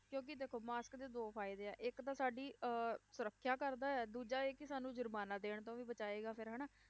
ਕਿਉਂਕਿ ਦੇਖੋ mask ਦੇ ਦੋ ਫ਼ਾਇਦੇ ਆ, ਇੱਕ ਤਾਂ ਸਾਡੀ ਅਹ ਸਰੱਖਿਆ ਕਰਦਾ ਹੈ, ਦੂਜਾ ਇਹ ਕਿ ਸਾਨੂੰ ਜ਼ੁਰਮਾਨਾ ਦੇਣ ਤੋਂ ਵੀ ਬਚਾਏਗਾ ਫਿਰ ਹਨਾ,